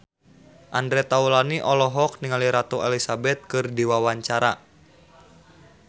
Andre Taulany olohok ningali Ratu Elizabeth keur diwawancara